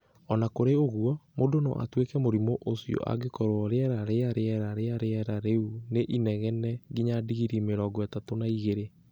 O na kũrĩ ũguo, mũndũ no atuĩke mũrimũ ũcio angĩkorũo rĩera rĩa rĩera rĩa rĩera rĩu nĩ inegene nginya digirii mĩrongo ĩtatũ na igĩrĩ.